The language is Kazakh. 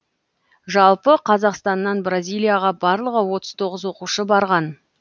жалпы қазақстаннан бразилияға барлығы отыз тоғыз оқушы барған